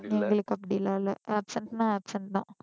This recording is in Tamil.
எங்களுக்கு அப்படி எல்லாம் இல்ல absent னா absent தான்